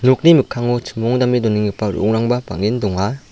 nokni mikkango chimongdame donenggipa ro·ongrangba bang·en donga.